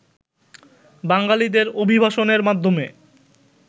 বাঙালিদের অভিবাসনের মাধ্যমে